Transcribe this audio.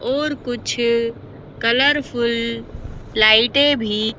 और कुछ कलरफुल लाइटें भी--